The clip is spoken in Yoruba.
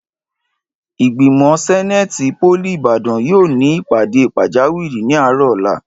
Ìgbìmò sẹ́néètì pólì Ìbàdàn yóò ní ìpàdé pàjáwìrì ní àárọ̀ ọ̀la